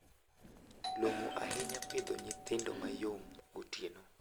Long`o ahinya pidho nyithindo mayom gotieno.